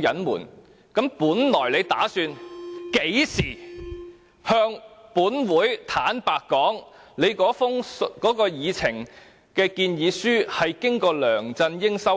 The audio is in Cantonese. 隱瞞，那你本來打算甚麼時候向本會坦白說，你的建議書經過梁振英修改？